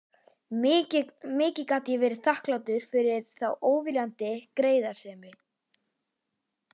Mikið gat ég verið þakklátur fyrir þá óviljandi greiðasemi.